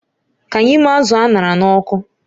Ka anyị mee azụ̀ a ṅara n'ọkụ